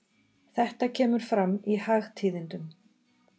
Þetta kemur fram í Hagtíðindum.